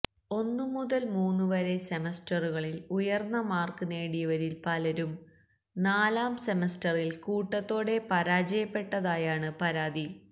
ഒന്നു മുതല് മൂന്നു വരെ സെമസ്റ്ററുകളില് ഉയര്ന്ന മാര്ക്ക് നേടിയവരില് പലരും നാലാം സെമസ്റ്ററില് കൂട്ടത്തോടെ പരാജയപ്പെട്ടതായാണ് പരാതി